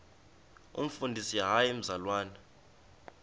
umfundisi hayi mzalwana